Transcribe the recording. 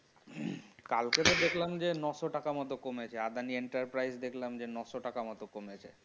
কালকে তো দেখলাম যে নয়শো টাকার মতো কমেছে আদানি enterprise দেখলাম যে নয়শো টাকার মতো কমেছে